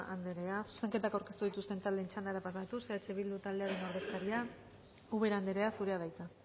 anderea zuzenketak aurkeztu dituzten taldeen txandara pasatuz eh bildu taldearen ordezkaria ubera anderea zurea da hitza